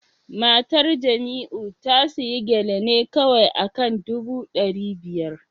Matar Jamiu ta sayi Gele ne kawai akan dubu dari biyar